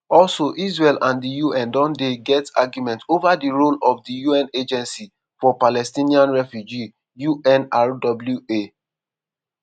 also israel and di un don dey get argument ova di role of di un agency for palestinian refugees unrwa.